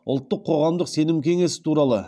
ұлттық қоғамдық сенім кеңесі туралы